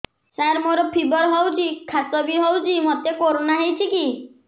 ସାର ମୋର ଫିବର ହଉଚି ଖାସ ବି ହଉଚି ମୋତେ କରୋନା ହେଇଚି କି